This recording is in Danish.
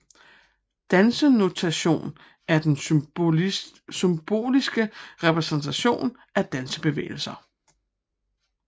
Dansenotation er den symboliske repræsentation af dansebevægelser